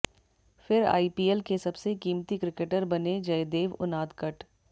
फिर आईपीएल के सबसे कीमती क्रिकेटर बने जयदेव उनादकट